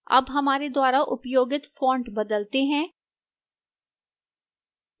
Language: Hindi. अब हमारे द्वारा उपयोगित font बदलते हैं